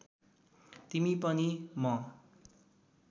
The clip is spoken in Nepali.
तिमी पनि म